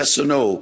Yes or no?